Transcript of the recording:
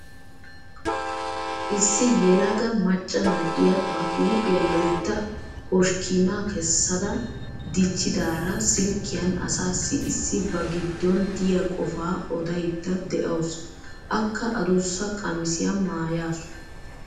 Issi yelaga macca na'iya ba huuphiya loytta hoshkkiinaa kesaada dichchidaara silkkiyan asaassi issi ba giddon diya qofaa odaydda dawusu. Akka adussa qamisiya maayaasu.